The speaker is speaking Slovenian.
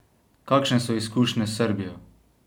Kakšne so izkušnje s Srbijo?